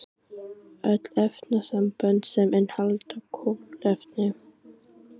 öll efnasambönd sem innihalda kolefni